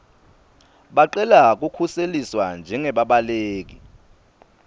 bacele kukhuseliswa njengebabaleki